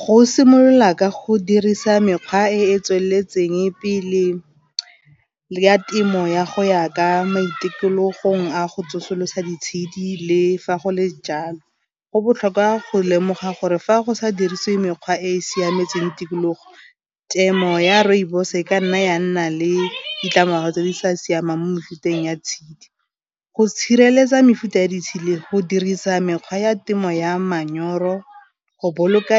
Go simolola ka go dirisa mekgwa e e tsweletseng pele ya temo ya go ya ka mo ditikologong a go tsosolosa ditshedi le fa go le jalo, go botlhokwa go lemoga gore fa go sa dirisiwe mekgwa e e siametseng tikologo temo ya rooibos e ka nna ya nna le ditlamorago tse di sa siamang mo mefuteng ya tshedi, go tshireletsa mefuta ya ditsedi go dirisa mekgwa ya temo ya manyoro go boloka